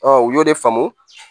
u y'o de faamu